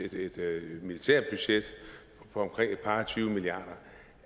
militært budget på omkring et par og tyve milliarder